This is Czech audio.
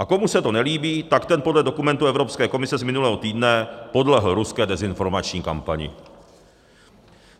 A komu se to nelíbí, tak ten podle dokumentu Evropské komise z minulého týdne podlehl ruské dezinformační kampani.